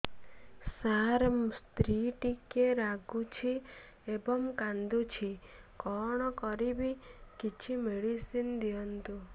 ସାର ସ୍ତ୍ରୀ ଟିକେ ରାଗୁଛି ଏବଂ କାନ୍ଦୁଛି କଣ କରିବି କିଛି ମେଡିସିନ ଦିଅନ୍ତୁ